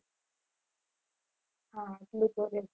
હા